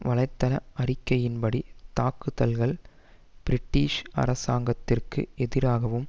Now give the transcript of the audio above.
வலைத்தள அறிக்கையின் படி தாக்குதல்கள் பிரிட்டிஷ் அரசாங்கத்திற்கு எதிராகவும்